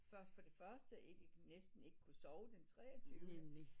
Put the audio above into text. Først for det første ikke næsten ikke kunne sove den treogtyvende